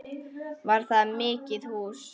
Var það mikið hús.